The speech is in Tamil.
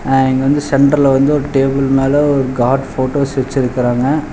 அ இங்க வந்து சென்டர்ல வந்து ஒரு டேபிள் மேல ஒரு காட் போட்டோஸ் வச்சிருக்காங்க.